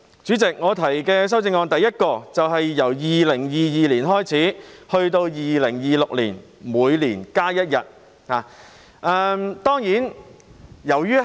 主席，我提出的第一項修正案，是由2022年開始至2026年，每年增加一天假期。